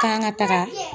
K'an ka taga